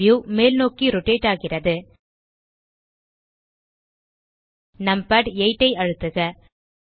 view மேல்நோக்கி rotate ஆகிறது numpad 8 ஐ அழுத்துக